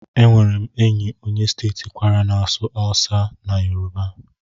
Enwere m enyi onye steeti Kwara na-asụ asụsụ Hausa na Yoruba.